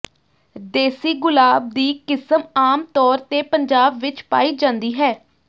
ਦੇਸੀ ਗੁਲਾਬ ਦੀ ਕਿਸਮ ਆਮਤੌਰ ਤੇ ਪੰਜਾਬ ਵਿੱਚ ਪਾਈ ਜਾਂਦੀ ਹੈ